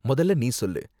மொதல்ல நீ சொல்லு.